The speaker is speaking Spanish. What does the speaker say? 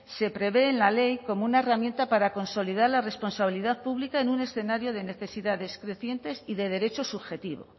se prevé en la ley como una herramienta para consolidar la responsabilidad pública en un escenario de necesidades crecientes y de derecho subjetivo